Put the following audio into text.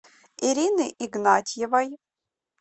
ирины игнатьевой